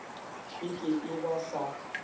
e ke e ba sa